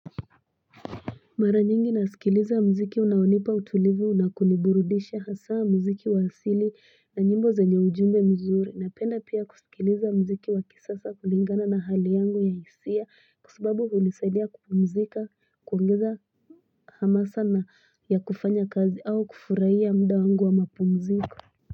Mara nyingi nasikiliza mziki unaonipa utulivu na kuniburudisha. Hasaa mziki wa asili na nyimbo zenye ujumbe mzuri. Napenda pia kusikiliza mziki wa kisiasa kulingana na hali yangu ya hisia. Kwa sababu hunisaidia kupumzika, kuongeza hamasa ya kufanya kazi au kufurahia muda wangu wa mapumziko.